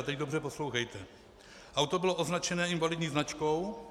A teď dobře poslouchejte: Auto bylo označené invalidní značkou